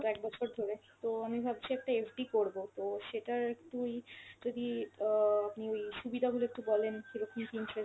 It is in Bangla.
গত একবছর ধরে। তো আমি ভাবছি একটা FD করব, তো সেটার একটু ই যদি অ আপনি ওই সুবিধা গুলো একটু বলেন কীরকম কী interest